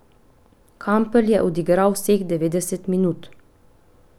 Kampl je odigral vseh devetdeset minut.